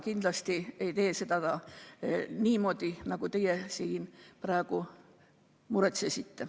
Kindlasti ei lahenda ta seda niimoodi, nagu teie siin praegu muretsesite.